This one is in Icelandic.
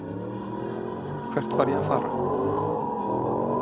Hvert var ég að fara?